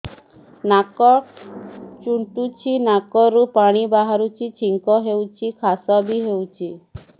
ନାକ ଚୁଣ୍ଟୁଚି ନାକରୁ ପାଣି ବହୁଛି ଛିଙ୍କ ହଉଚି ଖାସ ବି ହଉଚି